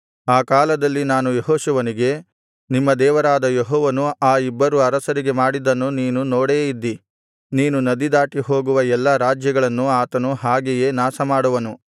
ಆ ಕಾಲದಲ್ಲಿ ನಾನು ಯೆಹೋಶುವನಿಗೆ ನಿಮ್ಮ ದೇವರಾದ ಯೆಹೋವನು ಆ ಇಬ್ಬರು ಅರಸರಿಗೆ ಮಾಡಿದ್ದನ್ನು ನೀನು ನೋಡೇ ಇದ್ದೀ ನೀನು ನದಿ ದಾಟಿಹೋಗುವ ಎಲ್ಲಾ ರಾಜ್ಯಗಳನ್ನೂ ಆತನು ಹಾಗೆಯೇ ನಾಶಮಾಡುವನು